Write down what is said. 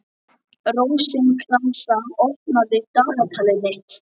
Rósinkransa, opnaðu dagatalið mitt.